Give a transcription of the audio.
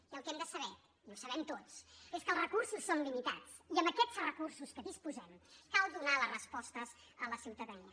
i el que hem de saber i ho sabem tots és que els recursos són limitats i amb aquests recursos de què disposem cal donar les respostes a la ciutadania